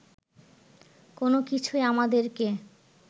কোনোকিছুই আমাদেরকে